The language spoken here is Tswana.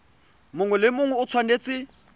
mongwe le mongwe o tshwanetse